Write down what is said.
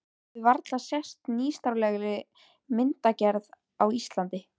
Hafi varla sést nýstárlegri myndgerð á Íslandi.